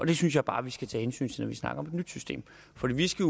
det synes jeg bare at vi skal tage hensyn til når vi snakker om et nyt system fordi vi skal